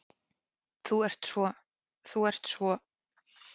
Þú ert svo. þú ert svo.